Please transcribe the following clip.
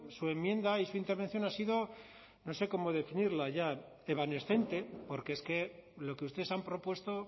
su enmienda y su intervención ha sido no sé cómo definirla ya evanescente porque es que lo que ustedes han propuesto